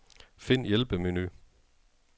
Find hjælpemenu.